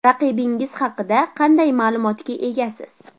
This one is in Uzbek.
Raqibingiz haqida qanday ma’lumotga egasiz?